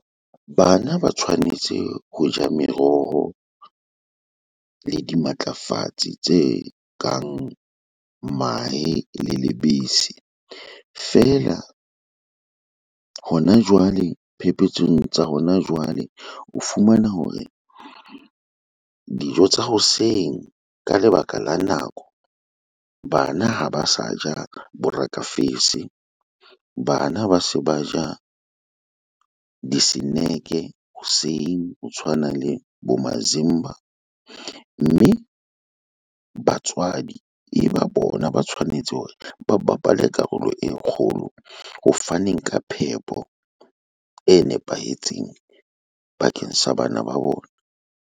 Bana ba tshwanetse ho ja meroho le dimatlafatsi tse kang mahe le lebese. Fela hona jwale phepetsong tsa hona jwale, o fumana hore dijo tsa hoseng ka lebaka la nako, bana ha ba sa ja borekafese. Bana ba se ba ja eng diseneke hoseng ho tshwana le bo mazimba. Mme batswadi e ba bona ba tshwanetse hore ba bapale karolo e kgolo ho faneng ka phepo e nepahetseng bakeng sa bana ba bona.